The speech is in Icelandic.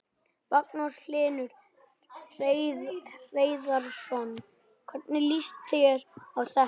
Magnús Hlynur Hreiðarsson: Hvernig líst þér á þetta?